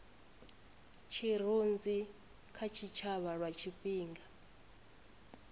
tshirunzi kha tshitshavha lwa tshifhinga